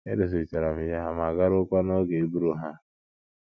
Edozichara m ya ma g̣aruokwa n’oge iburu ha.